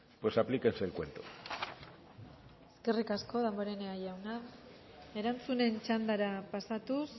pues aplíquese el cuento eskerrik asko damborenea jauna erantzunen txandara pasatuz